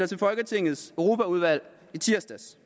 til folketingets europaudvalg i tirsdags